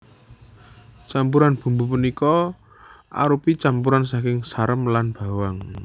Campuran bumbu punika arupi campuran saking sarem lan bawang